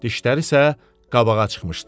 Dişləri isə qabağa çıxmışdı.